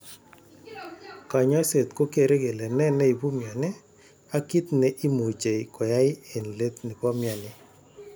Kanyaiset ko kere kele ne neipu mioni ak kit ne imuche koyai en let nepo mioni.